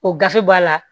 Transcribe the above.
O gafe b'a la